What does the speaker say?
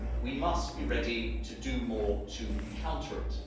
We must be ready to do more to counter it.